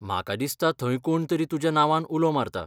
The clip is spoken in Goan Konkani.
म्हाका दिसता थंय कोण तरी तुज्या नांवान उलो मारता.